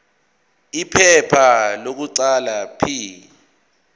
iphepha lokuqala p